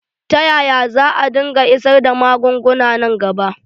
Ta yaya za dinga isar da magunguna nan gaba?